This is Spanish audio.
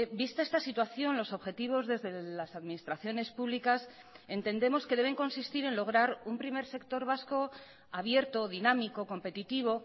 vista esta situación los objetivos desde las administraciones públicas entendemos que deben consistir en lograr un primer sector vasco abierto dinámico competitivo